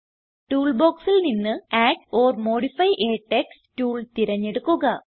tool ബോക്സിൽ നിന്ന് add or modify a text tool തിരഞ്ഞെടുക്കുക